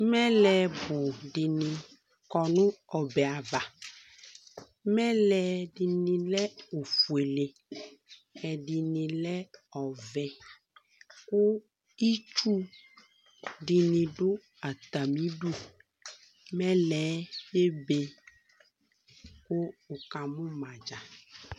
Mɛlɛ bʋ dɩnɩ kɔ n'ɔbɛɛ ava: mɛlɛ dɩnɩ lɛ ofuele ,ɛdɩnɩ lɛ ɔvɛ Kʋ itsu dɩnɩ dʋ atamidu Mɛlɛɛ ebe kʋ wʋkamʋ ma dzaa